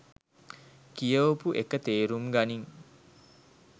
කියවපු එක තේරුම් ගනින්